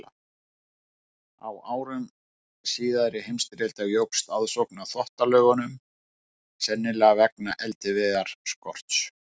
Á árum síðari heimsstyrjaldar jókst aðsókn að Þvottalaugunum, sennilega vegna eldiviðarskorts.